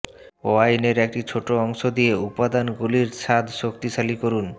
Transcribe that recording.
ওয়াইনের একটি ছোট অংশ দিয়ে উপাদানগুলির স্বাদ শক্তিশালী করুন